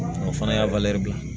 O fana y'a bila